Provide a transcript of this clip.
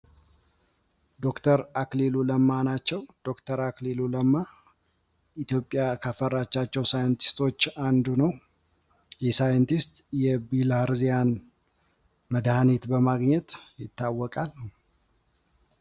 ዶክተር አክሊሉ ለማ ናቸው ፤ ዶክተር አክሊሉ ለማ ኢትዮጵያ ካፈራቻቸዉ ሳይንቲስቶች አንዱ ነው ፤ ይህ ሳይንቲስት የብላሃርዚያን መድሃኒት በማግኘት ይታወቃል።